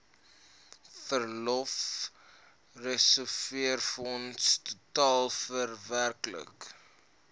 verlofreserwefonds totaal werklik